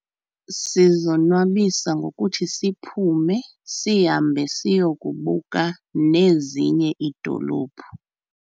Sizonwabisa ngokuthi siphume sihambe siyokubuka nezinye iidolophu.